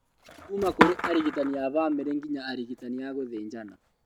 Kũma kũrĩ arigitani a bamĩrĩ nginya arigitani a gũthĩnjana